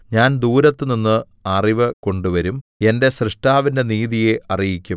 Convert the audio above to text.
ഞാൻ ദൂരത്തുനിന്ന് അറിവ് കൊണ്ടുവരും എന്റെ സ്രഷ്ടാവിന്റെ നീതിയെ അറിയിക്കും